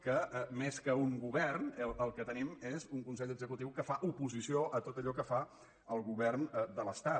que més que un govern el que tenim és un consell executiu que fa oposició a tot allò que fa el govern de l’estat